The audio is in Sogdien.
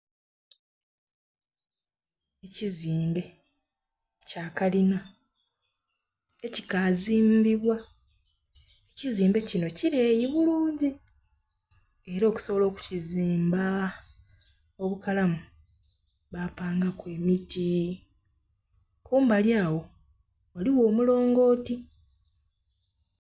Kizimbe kya kalina ekikazimbibwa. Ekizimbe kino kileeyi bulungi, era okusobola okukizimba obukalamu, bapangaku emiti. Kumbali agho ghaligho omulongooti.